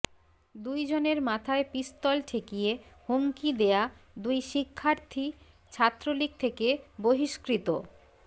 দুইজনের মাথায় পিস্তল ঠেকিয়ে হুমকি দেয়া দুই শিক্ষার্থী ছাত্রলীগ থেকে বহিষ্কৃত